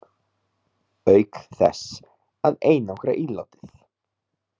Auk þess að einangra ílátið.